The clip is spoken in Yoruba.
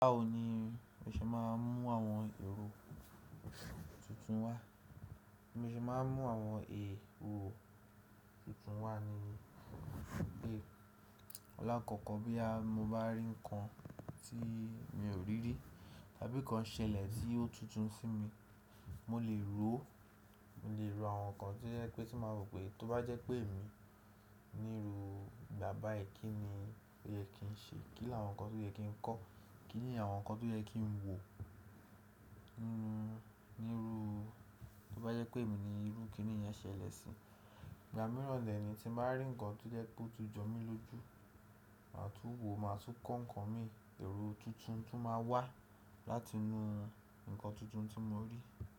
Báwo ni mo ṣe máa ń mú àwọn èrò tuntun wá? Mo ṣe máa ń mú àwọn èrò tuntun wá ní pé ọlákọ̀ọ̀kan boya mo bá rí nǹkan tí mi ò rí rí tàbí nǹkan ṣẹlẹ̀ tí ó tuntun sí mi, mo lè ró, mo lè ro àwọn nǹkan tí jẹ́ pé tí màá rò pé tó bá jẹ́ pé èmi nírú bàbá yìí kí ni ó yẹ kí n ṣe? Kí ni àwọn nǹkan tó yẹ kí n kọ́? Kí ni àwọn nǹkan tó yẹ kí n wò? Nínú nírú tó bá jẹ́ pé èmi nírú kí nìyẹn ṣẹlẹ̀ sí. Ìgbà mìíràn dẹ̀ni tí mo bá rí nǹkan tí jẹ́ pé ó ti jọ mí lójú, màá tún wò, màá tún kọ́ nǹkan mi èrò tuntun tún máa wá láti inú nǹkan tuntun tí mo rí.